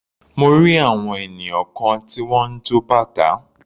Mo rí àwọn ènìyàn kan tí wọ́n ń jọ bàtá.